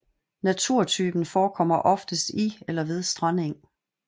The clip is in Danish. Naturtypen forekommer oftest i eller ved strandeng